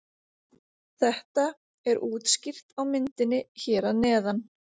Þetta er útskýrt á myndinni hér að neðan.